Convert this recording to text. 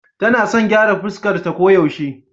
Tana son gyara fuskarta koyaushe.